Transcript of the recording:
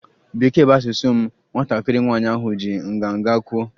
Bekee bụ asụsụ m, nwatakịrị nwanyị ahụ ji nganga kwuo